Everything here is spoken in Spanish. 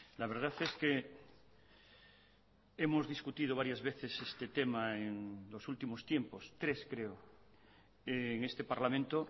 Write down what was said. la verdad es que hemos discutido varias veces este tema en los últimos tiempos tres creo en este parlamento